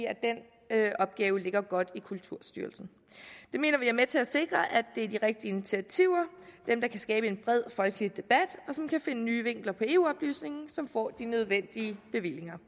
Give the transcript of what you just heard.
at opgave ligger godt i kulturstyrelsen det mener vi er med til at sikre at det er de rigtige initiativer dem der kan skabe en bred folkelig debat og som kan finde nye vinkler på eu oplysningen som får de nødvendige bevillinger